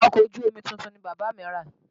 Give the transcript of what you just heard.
Ọkọ̀ ojú omi tuntun ni bàbá mí rà.